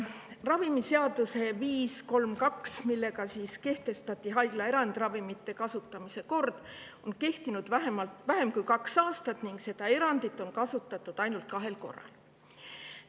Ravimiseaduse eelnõu nr 532, millega kehtestati haiglaerand ja ravimite kasutamise kord, on kehtinud vähem kui kaks aastat ning seda erandit on kasutatud ainult kahel korral.